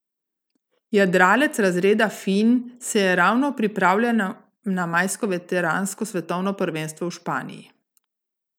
Jadralec razreda finn se je ravno pripravljal na majsko veteransko svetovno prvenstvo v Španiji.